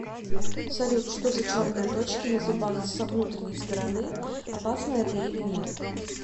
салют что за черные точки на зубах со внутренней стороны опасно это или нет